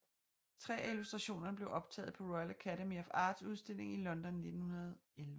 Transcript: Tre af illustrationerne blev optaget på Royal Academy of Arts udstilling i London 1911